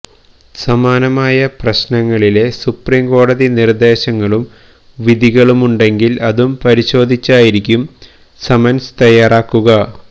സമാനമായ പ്രശ്നങ്ങളിലെ സുപ്രീകോടതി നിർദ്ദേശങ്ങളും വിധികളുണ്ടെങ്കിൽ അതും പരിശോധിച്ചായിരിക്കും സമൻസ് തയ്യാറാക്കുക